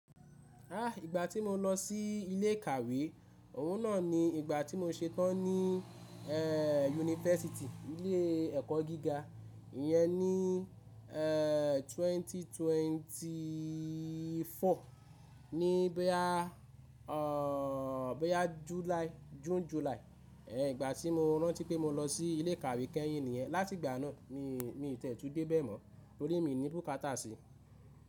Ìgbà tí mo lọ sí ilé ìkàwé, òun náà ni ìgbà tí mo ṣetán ní, yunifásítì, ilé ẹkọ gíga iyẹn ní 2024 ní bóyá bóyá July, June, July. Ìgbà tí mo rántí pé mo lọ sí ilé ìkàwé kẹ́yìn nìyẹn. Láti ìgbà náà mi, mi tẹ̀tù dẹ bẹ̀ mọ́ torí mi ni búkátà sí.